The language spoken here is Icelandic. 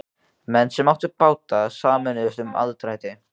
Menn sem áttu báta sameinuðust um aðdrætti.